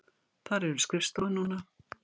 Þar eru skrifstofur núna.